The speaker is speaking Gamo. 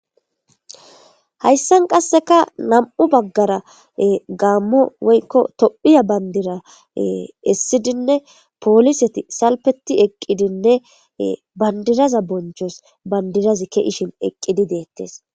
Hayssan qassika na'amu baggara gaammo woykko tophiya bandira essidinne, pooliseti salpeti eqqidinne bandiraza bonchos bandirazi ka'aqishin eqqidi deettes.